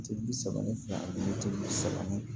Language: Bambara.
Tɛ bi saba ni fila ani bi saba ni